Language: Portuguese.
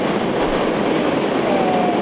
Claro. Eh